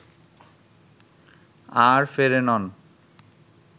আর ফেরেনন